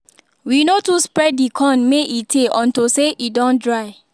we no too spread the corn may e tay unto say e don dry